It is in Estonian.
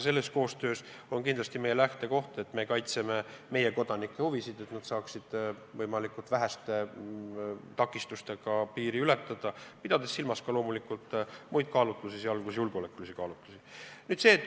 Selles koostöös on meie lähtekoht, et meie kaitseme oma kodanike huvisid, et nad saaksid võimalikult väheste takistustega piiri ületada, pidades silmas loomulikult ka muid kaalutlusi, sh julgeolekukaalutlusi.